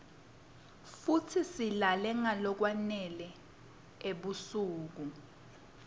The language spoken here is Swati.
futsi silale nqalokwa nele ebusuk